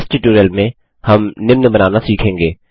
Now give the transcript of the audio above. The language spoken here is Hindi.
इस ट्यूटोरियल में हम निम्न बनाना सीखेंगे